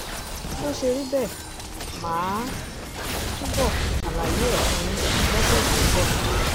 bó ṣe rí bẹ́ẹ̀ mà á túbọ̀ ṣàlàyé ẹ̀ fún yín lọ́sẹ̀ tó ń bọ̀